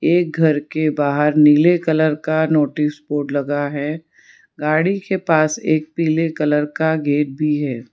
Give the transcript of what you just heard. एक घर के बाहर नीले कलर का नोटिस बोर्ड लगा है गाड़ी के पास एक पीले कलर का गेट भी है।